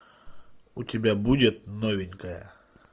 у тебя будет новенькая